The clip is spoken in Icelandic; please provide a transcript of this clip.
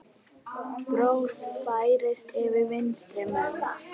Bros færist yfir vinstri menn.